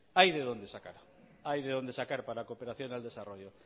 hay de dónde sacar hay de dónde sacar para la cooperación al desarrollo